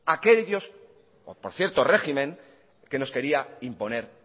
por cierto régimen que nos quiere imponer